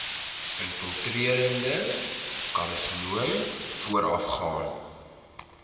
infiltrerende karsinoom voorafgaan